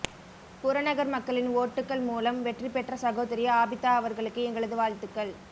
புறநகர் மக்களின் ஓட்டுகள் மூலம் வெற்றி பெற்ற சகோதரி ஆபிதா அவர்களுக்கு எங்களது வாழ்த்துக்கள்